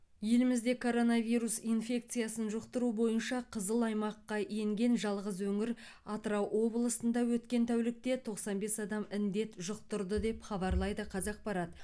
елімізде коронавирус инфекциясын жұқтыру бойынша қызыл аймаққа енген жалғыз өңір атырау облысында өткен тәулікте тоқсан бес адам індет жұқтырды деп хабарлайды қазақпарат